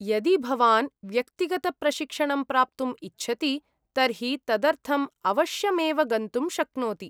यदि भवान् व्यक्तिगतप्रशिक्षणं प्राप्तुम् इच्छति तर्हि तदर्थम् अवश्यमेव गन्तुं शक्नोति।